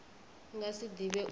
nga si ḓi vhidze uri